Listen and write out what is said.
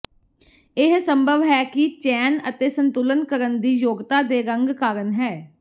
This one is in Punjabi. ਇਹ ਸੰਭਵ ਹੈ ਕਿ ਚੈਨ ਅਤੇ ਸੰਤੁਲਨ ਕਰਨ ਦੀ ਯੋਗਤਾ ਦੇ ਰੰਗ ਕਾਰਨ ਹੈ